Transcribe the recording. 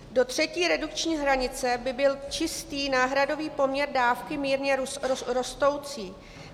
Do třetí redukční hranice by byl čistý náhradový poměr dávky mírně rostoucí.